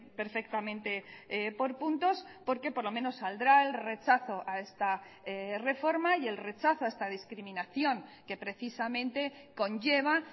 perfectamente por puntos porque por lo menos saldrá el rechazo a esta reforma y el rechazo a esta discriminación que precisamente conlleva